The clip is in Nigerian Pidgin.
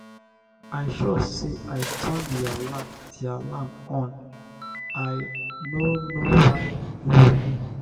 i sure say i turn the alarm the alarm on i no know why e no ring.